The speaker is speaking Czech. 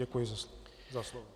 Děkuji za slovo.